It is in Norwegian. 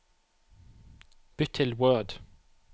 Bytt til Word